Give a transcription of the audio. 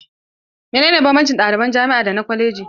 Menene banbancin ɗaliban jami'a da na kwaleji?